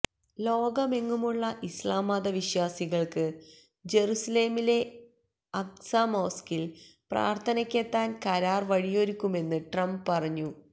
ലോകമെങ്ങുമുള്ള ഇസ്ലാം മത വിശ്വാസികൾക്ക് ജറുസലമിലെ അഖ്സ മോസ്ക്കിൽ പ്രാർഥനക്കെത്താൻ കരാർ വഴിയൊരുക്കുമെന്ന് ട്രംപ് പറഞ്ഞു